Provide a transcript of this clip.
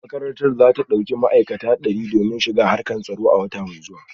Makarantar za ta dauki mutane dari aiki domin shiga harkar tsaro a wata mai zuwa